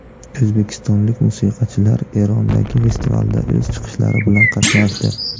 O‘zbekistonlik musiqachilar Erondagi festivalda o‘z chiqishlari bilan qatnashdi.